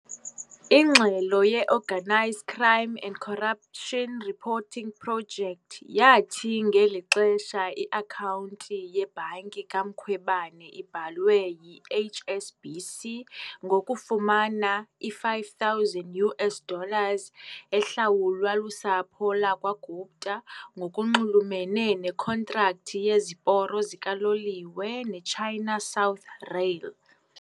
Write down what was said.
Ingxelo ye-Organised Crime and Corruption Reporting Project yathi ngeli xesha i-akhawunti yebhanki kaMkhwebane ibhalwe yi-HSBC ngokufumana i-5,000 US dollars ehlawulwa lusapho lakwa-Gupta ngokunxulumene nekhontrakthi yeziporo zikaloliwe neChina South Rail .